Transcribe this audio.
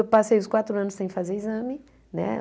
Eu passei os quatro anos sem fazer exame né.